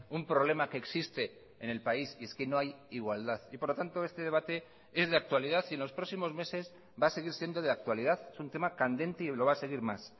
un problema que existe en el país y es que no hay igualdad y por lo tanto este debate es de actualidad y en los próximos meses va a seguir siendo de actualidad es un tema candente y lo va a seguir más